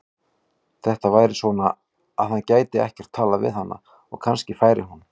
Þetta væri svona, að hann gæti ekkert talað við hana og kannski færi hún.